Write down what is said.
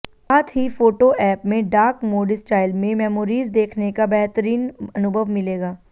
साथ ही photo app में डार्क मोड स्टाइल में मेमोरीज देखने का बेहतरीन अनुभव मिलेगा